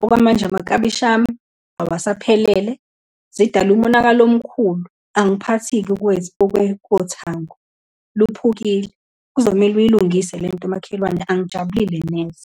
Okwamanje amaklabishi ami awasaphelele, zidale umonakalo omkhulu. Angiphathi-ke kothango, luphukile, kuzomele uyilungise lento makhelwane, angijabulile neze.